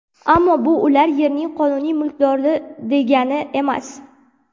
Ammo bu ular yerning qonuniy mulkdori degani emas.